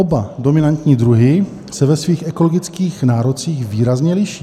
Oba dominantní druhy se ve svých ekologických nárocích výrazně liší.